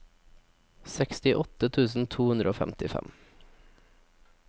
sekstiåtte tusen to hundre og femtifem